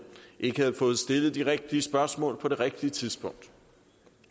ikke havde fået stillet de rigtige spørgsmål på det rigtige tidspunkt